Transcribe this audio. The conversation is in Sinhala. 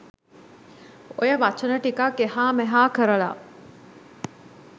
ඔය වචන ටිකක් එහා මෙහා කරලා